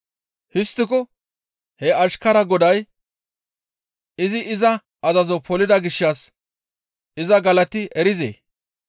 Histtiko he ashkaraa goday izi iza azazo polida gishshas iza galati erizee?